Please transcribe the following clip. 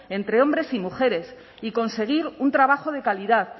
entre hombres y mujeres y conseguir un trabajo de calidad